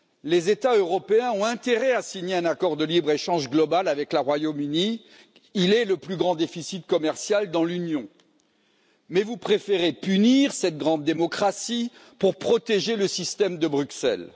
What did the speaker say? Les États européens ont intérêt à signer un accord de libre échange global avec le Royaume Uni, il est le plus grand déficit commercial dans l'Union. Mais vous préférez punir cette grande démocratie pour protéger le système de Bruxelles.